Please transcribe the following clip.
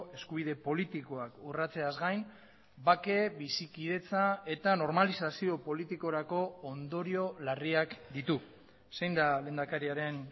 eskubide politikoak urratzeaz gain bake bizikidetza eta normalizazio politikorako ondorio larriak ditu zein da lehendakariaren